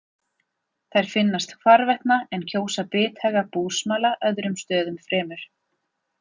Þær finnast hvarvetna en kjósa bithaga búsmala öðrum stöðum fremur.